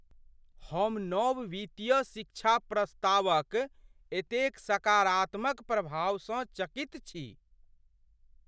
हम नव वित्तीय शिक्षा प्रस्तावक एतेक सकारात्मक प्रभावसँ चकित छी।